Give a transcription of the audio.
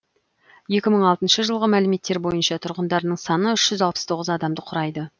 екі мың алтыншы жылғы мәліметтер бойынша тұрғындарының саны үш жүз алпыс тоғыз адамды құрайды